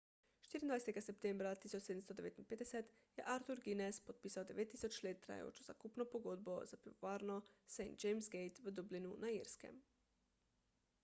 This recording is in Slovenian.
24 septembra 1759 je arthur guinness podpisal 9000 let trajajočo zakupno pogodbo za pivovarno st james' gate v dublinu na irskem